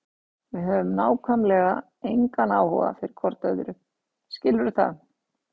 Við höfum nákvæmlega engan áhuga fyrir hvort öðru, skilurðu það?